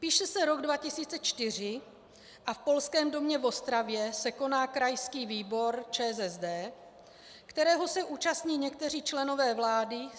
Píše se rok 2004 a v Polském domě v Ostravě se koná krajský výbor ČSSD, kterého se účastní někteří členové vlády.